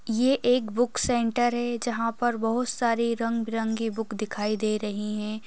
ये एक book centre है जहाँ पर बहु सारी रंग बिरंगी बुक दिखाई दे रही हैं।